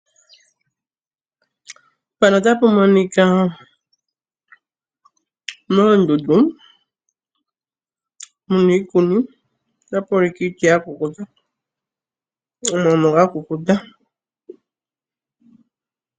Moondundu mu na iikuni, tapu ulike pu na iiti ya kukuta, omano ga kukuta.